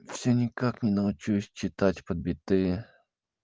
всё никак не научусь читать под биты